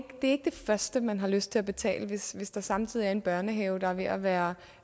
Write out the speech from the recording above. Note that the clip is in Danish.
det første man har lyst til at betale hvis der samtidig er en børnehave der er ved at være